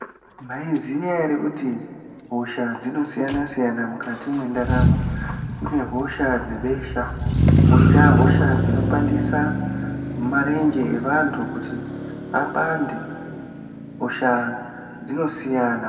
Maiziva here kuti hosha dzinosiyana-siyana mukati mendaramo kune hosha dzebesha koita hosha dzinopandisa marenje evanhu kuti apande hosha dzinosiyana.